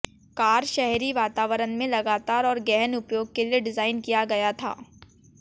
car शहरी वातावरण में लगातार और गहन उपयोग के लिए डिजाइन किया गया था